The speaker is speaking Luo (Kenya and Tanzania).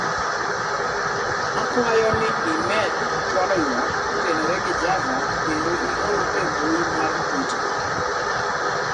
akwayo ni imed chwalo ywak kotenore gi Java kendo ior e mbui mar twita